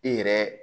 E yɛrɛ